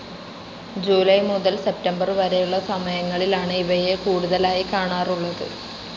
July മുതൽ September വരെയുളള സമയങ്ങളിലാണ് ഇവയെ കൂടുതലായി കാണാറുളളത്.